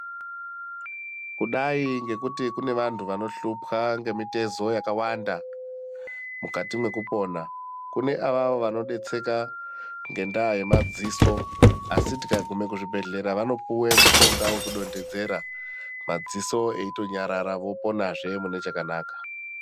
Kudayi ngekuti kune vantu vanohlupwa ngemitezo yakawanda mukati mwekupona. Kune avavo vanodetseka ngendaa yemadziso asi tikagume kuchibhedhlera vanopuwe mishonga yekudondedzera madziso eitonyarara voponazve mune chakanaka.